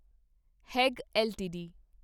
ਹੇਗ LTD